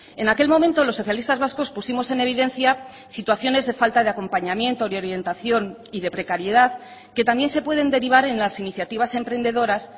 en aquel momento los socialistas vascos pusimos en evidencia situaciones de falta de acompañamiento y orientación y de precariedad que también se pueden derivar en las iniciativas emprendedoras